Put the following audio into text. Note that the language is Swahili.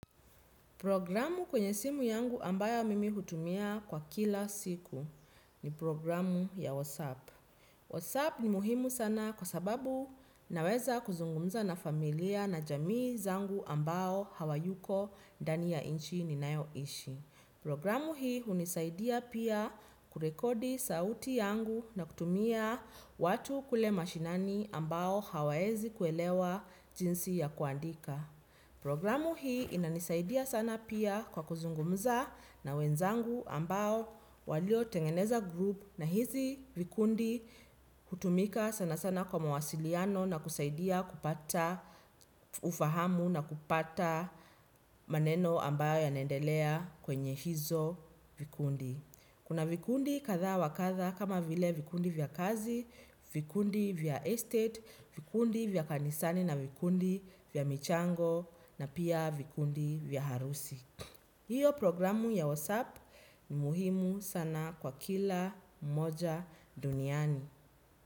Programu kwenye simu yangu ambayo mimi hutumia kwa kila siku ni programu ya Whatsapp. WhatsApp ni muhimu sana kwa sababu naweza kuzungumza na familia na jamii zangu ambao hawayuko ndani ya nchi ninayoishi. Programu hii hunisaidia pia kurekodi sauti yangu na kutumia watu kule mashineni ambao hawaezi kuelewa jinsi ya kuandika. Programu hii inanisaidia sana pia kwa kuzungumza na wenzangu ambao waliotengeneza 'group' na hizi vikundi hutumika sana sana kwa mawasiliano na kusaidia kupata ufahamu na kupata maneno ambayo yanaendelea kwenye hizo vikundi. Kuna vikundi kadha wa kadha kama vile vikundi vya kazi, vikundi vya estate, vikundi vya kanisani na vikundi vya michango na pia vikundi vya harusi. Hiyo programu ya Whatsapp ni muhimu sana kwa kila mmoja duniani.